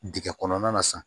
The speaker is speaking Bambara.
Dingɛ kɔnɔna na sisan